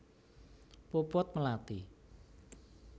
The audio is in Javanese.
Puput Melati